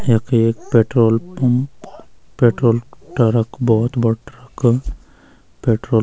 यख एक petrol pump petrol truck भौत बडू ट्रक पेट्रोल ।